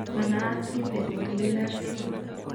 Manayat kiit negonu Bednar tumor